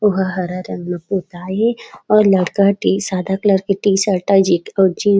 ओ ह हरा रंग म पोताए हे और लड़का हा सादा कलर के टी- शर्ट जैकेट अउ जींस